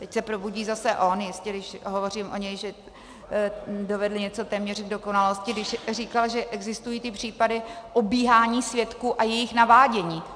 Teď se probudí zase on jistě, když hovořím o něm, že dovedl něco téměř k dokonalosti, když říkal, že existují ty případy obíhání svědků a jejich navádění.